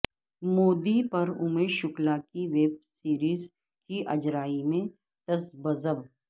مودی پر اومیش شکلا کی web series کی اجرائی میں تذبذب